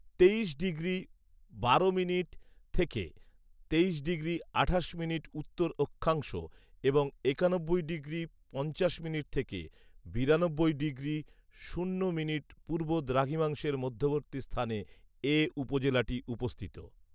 তেইশ ডিগ্রি বারো মিনিট থেকে তেইশ ডিগ্রি আঠাশ মিনিট উত্তর অক্ষাংশ এবং একানব্বই ডিগ্রি পঞ্চাশ মিনিট থেকে বিরানব্বই ডিগ্রি শূন্য মিনিট পূর্ব দ্রাঘিমাংশের মধ্যবর্তী স্থানে এ উপজেলাটি অবস্থিত